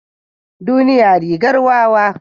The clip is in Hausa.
Duniya rigar wawa.